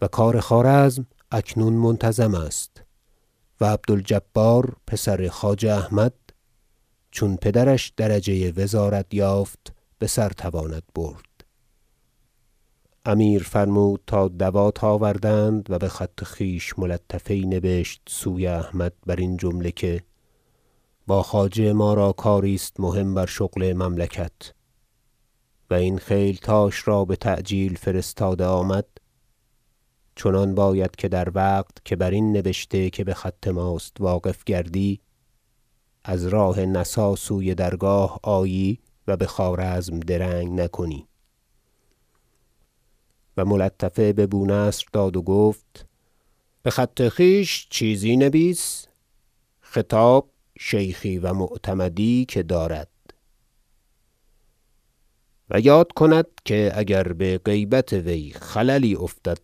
و کار خوارزم اکنون منتظم است و عبد الجبار پسر خواجه احمد چون پدرش درجه وزارت یافت بسر تواند برد امیر فرمود تا دوات آوردند و بخط خویش ملطفه یی نبشت سوی احمد برین جمله که با خواجه ما را کاری است مهم بر شغل مملکت و این خیلتاش را بتعجیل فرستاده آمد چنان باید که در وقت که برین نبشته که بخط ماست واقف گردی از راه نسا سوی درگاه آیی و بخوارزم درنگ نکنی و ملطفه به بونصر داد و گفت بخط خویش چیزی نبیس خطاب شیخی و معتمدی که دارد و یاد کند که اگر بغیبت وی خللی افتد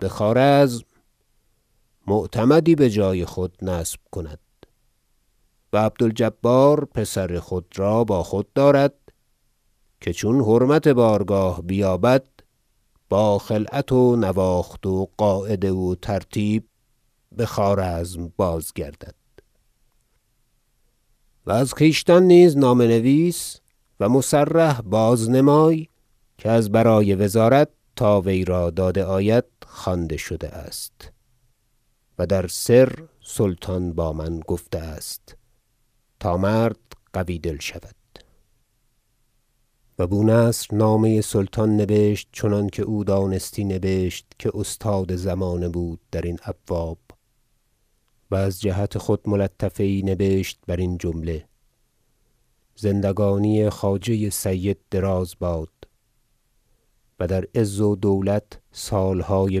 بخوارزم معتمدی بجای خود نصب کند و عبد الجبار پسر خود را با خود دارد که چون حرمت بارگاه بیابد با خلعت و نواخت و قاعده و ترتیب بخوارزم بازگردد و از خویشتن نیز نامه نویس و مصرح بازنمای که از برای وزارت تا وی را داده آید خوانده شده است و در سر سلطان با من گفته است تا مرد قوی دل شود و بونصر نامه سلطان نبشت چنانکه او دانستی نبشت که استاد زمانه بود درین ابواب و از جهت خود ملطفه یی نبشت برین جمله زندگانی خواجه سید دراز باد و در عز و دولت سالهای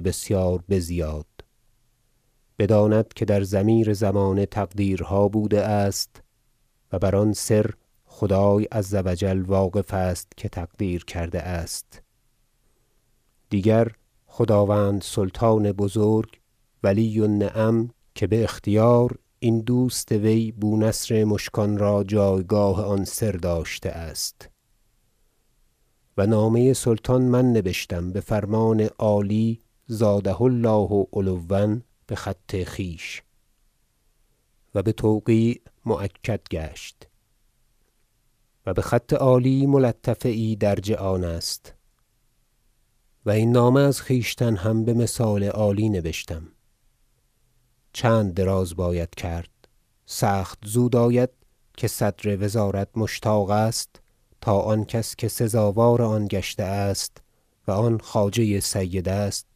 بسیار بزیاد بداند که در ضمیر زمانه تقدیرها بوده است و بر آن سر خدای عز و جل واقف است که تقدیر کرده است دیگر خداوند سلطان بزرگ ولی النعم که باختیار این دوست وی بونصر مشکان را جایگاه آن سر داشته است و نامه سلطان من نبشتم بفرمان عالی زاده الله علوا بخط خویش و بتوقیع مؤکد گشت و بخط عالی ملطفه یی درج آن است و این نامه از خویشتن هم بمثال عالی نبشتم چند دراز باید کرد سخت زود آید که صدر وزارت مشتاق است تا آن کس که سزاوار آن گشته است و آن خواجه سید است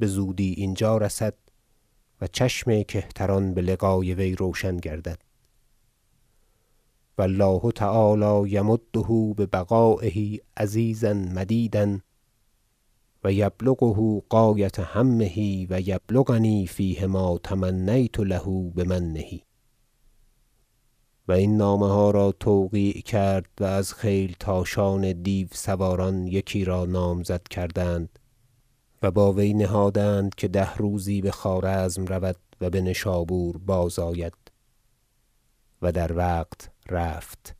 بزودی اینجا رسد و چشم کهتران بلقای وی روشن گردد و الله تعالی یمده ببقایه عزیزا مدیدا و یبلغه غایة همه و یبلغنی فیه ما تمنیت له بمنه و این نامه ها را توقیع کرد و از خیلتاشان دیو- سواران یکی را نامزد کردند و با وی نهادند که ده روزی بخوارزم رود و بنشابور بازآید و در وقت رفت